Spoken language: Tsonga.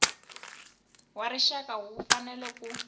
wa rixaka wu fanele ku